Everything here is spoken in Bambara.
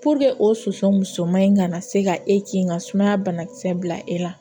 o soso musoman in kana se ka e kin ka sumaya banakisɛ bila e la